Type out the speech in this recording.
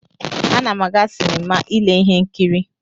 Ana m aga sinima ile ihe nkiri.